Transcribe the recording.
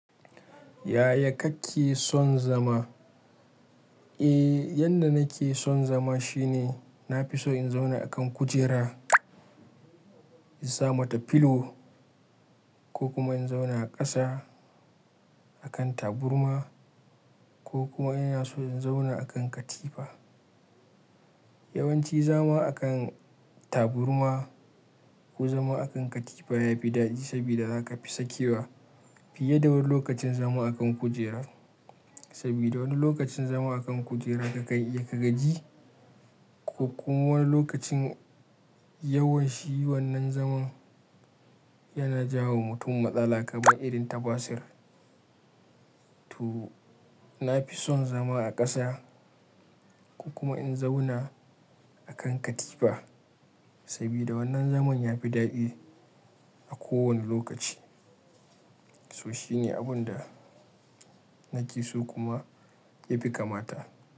Yaya kake son zama? Eh, yadda nake son zama shine na fi so in zauna a kan kujera, in sa mata pillow ko kuma in zauna a ƙasa a kan taburma ko kuma ina so in zauna a kan katifa. Yawanci zama a kan taburma ko zama a kan katifa yafi daɗi sabida zaka fi sakewa fiye da wani lokacin zama a kan kujera. Sabida wani lokacin zama a kan kujera kakan iya ka gaji ko kuma wani lokacin yawan shii wannan zaman yana jawo mutum matsala kaban irin tabasir. To, na fi son zama a ƙasa ko kuma in zauna a kan katifa sabida wannan zaman yafi daɗi a kowane lokaci. So shine abun da nake so kuma ya fi kamata.